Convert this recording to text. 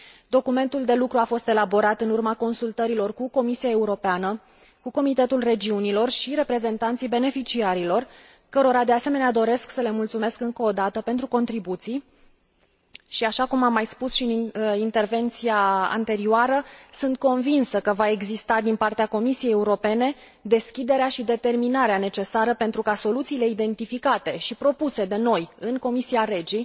Documentul de lucru a fost elaborat în urma consultărilor cu Comisia Europeană, cu Comitetul Regiunilor și reprezentanții beneficiarilor, cărora de asemenea doresc să le mulțumesc încă o dată pentru contribuții. Și așa cum am mai spus și în intervenția anterioară, sunt convinsă că va exista din partea Comisiei Europene deschiderea și determinarea necesară pentru ca soluțiile identificate și propuse de noi în comisia REGI